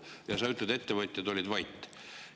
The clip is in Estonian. Aga sa ütled, et ettevõtjad olid vait.